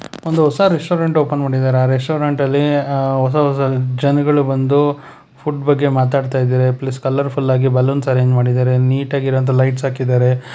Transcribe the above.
ಒಂದು ಹೊಸ restaurant open ಮಾಡಿದಾರೆ ಆ ರೆಸ್ಟೋರೆಂಟ್ ಅಲ್ಲಿ ಆ ಹೊಸ ಹೊಸ ಜನಗಳು ಬಂದು ಫುಡ್ ಬಗ್ಗೆ ಮಾತಾಡ್ತಾ ಇದಾರೆ ಪ್ಲಸ್ ಕಲರ್ಫುಲ್ ಆಗಿ ಬಲೂನ್ಸ್ ಅರೆಂಜ್ ಮಾಡಿದಾರೆ ನೀಟ್ ಆಗಿರುವಂತ ಲೈಟ್ಸ್ ಹಾಕಿದಾರೆ.